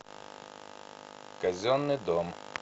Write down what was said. казенный дом